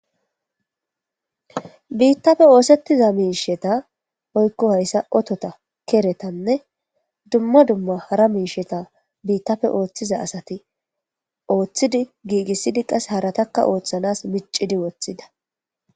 biittafe oosettiza miisheta oykko hayssa otota keretanne dumma dumma hara miisheta biittafe ooththiza asati ooththidi giigissidi qase haratakka ooththanas micidi woththida